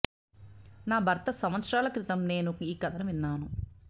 నా భర్త సంవత్సరాల క్రితం నేను ఈ కథను విన్నాను